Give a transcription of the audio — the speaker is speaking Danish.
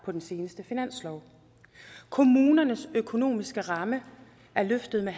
på den seneste finanslov kommunernes økonomiske ramme er løftet med